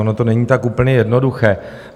Ono to není tak úplně jednoduché.